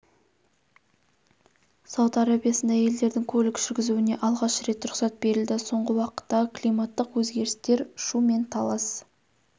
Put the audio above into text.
сауд арабиясында әйелдердің көлік жүргізуіне алғаш рет рұқсат берілді соңғы уақыттағы климаттық өзгерістер шу мен талас